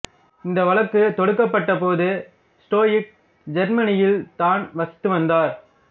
இந்த வழக்கு தொடுக்கப்பட்ட போது ஸ்டோயிக் ஜெர்மனியில் தான் வசித்து வந்தார்